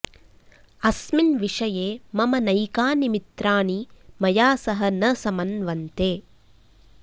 अस्मिन् विषये मम नैकानि मित्रानि मया सह न संमन्वन्ते